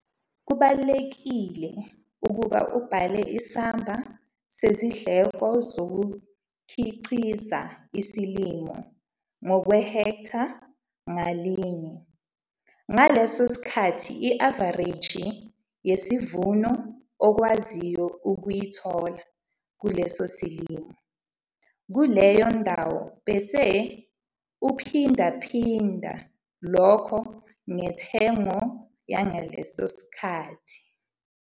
Kubalulekile ukuba ubale isamba sezindleko zokukhiqiza isilimo ngokwehektha ngalinye - ngaleso sikhathi i-avareji yesivuno okwaziyo ukuyithola kuleso silimo kuleyo ndawo bese uphindaphinda lokho ngentengo yangaleso sikhathi.